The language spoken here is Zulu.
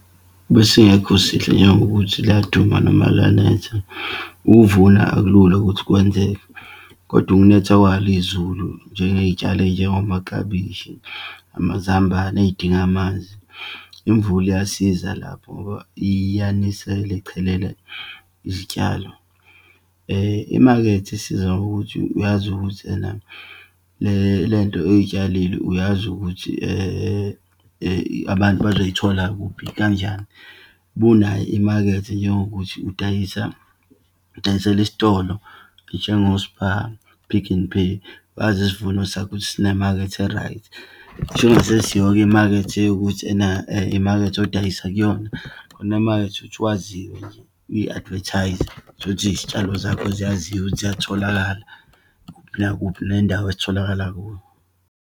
Besingekho sihle, njengokuthi liyaduma noma liyanetha, ukuvuna akulula ukuthi kwenzeke. Kodwa ukunetha kwalo izulu njengengeyitshalo eyinjengomaklabishi, amazambane, eyidinga amanzi, imvula iyasiza lapho ngoba iyanisele, ichelele izitshalo. Imakethe isiza ngokuthi uyazi ukuthi ena le nto oyitshalile uyazi ukuthi abantu bazoyithola kuphi kanjani. Uma unawo imakethe, njengokuthi udayisa, udayisela isitolo, njengo-Spar, Pick n Pay, wazi isivuno sakho ukuthi sinemakhethe e-right. Ngisho kungasesiyo-ke imakethe ukuthi ena imakethe odayisa kuyona, khona emakethe ukuthi waziwe, uyi-advertise-ze. Utholukuthi izitshalo zakho ziyaziwa ukuthi ziyatholakala, nakuphi nendawo ezitholakala kuyo.